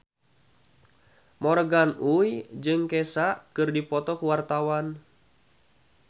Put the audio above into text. Morgan Oey jeung Kesha keur dipoto ku wartawan